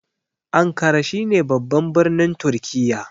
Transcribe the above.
Ankara shine babban birnin turkiya